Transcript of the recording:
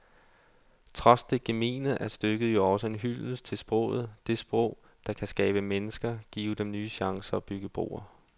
Trods det gemene er stykket jo også en hyldest til sproget, det sprog, der kan skabe mennesker, give dem nye chancer og bygge broer.